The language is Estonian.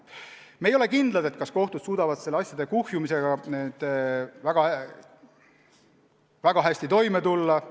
Aga jah, me ei ole kindlad, kas kohtud suudavad asjade kuhjumisega väga hästi toime tulla.